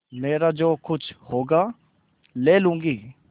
मेरा जो कुछ होगा ले लूँगी